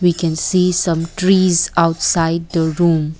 we can see some trees outside the room.